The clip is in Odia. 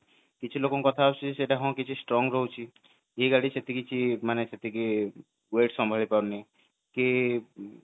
କଥା ହଁ ସେଠି ସେ strong ରହୁଛି ସେମିତି କିଛି ମାନେ ସେତିକି weight ସଭଳିଆ ପାରୁନି କି